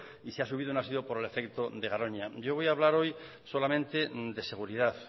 y si ha subido no ha sido por el efecto de garoña yo voy a hablar solamente de seguridad